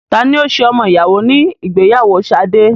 Tani ó ṣe ọmọ ìyàwó ní ìgbéyàwó Sade?